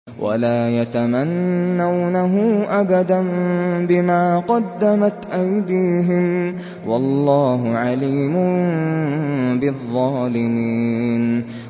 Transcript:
وَلَا يَتَمَنَّوْنَهُ أَبَدًا بِمَا قَدَّمَتْ أَيْدِيهِمْ ۚ وَاللَّهُ عَلِيمٌ بِالظَّالِمِينَ